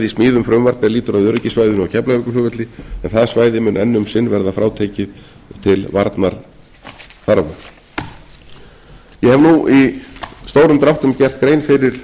smíðum frumvarp er lýtur að öryggissvæðinu á keflavíkurflugvelli en það svæði mun enn um sinn verða frátekið til varnarþarfa ég hef nú í stórum dráttum gert grein fyrir